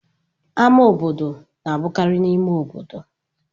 Ámá obodo na-abụkarị n'ime obodo.